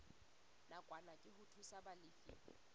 nakwana ke ho thusa balefi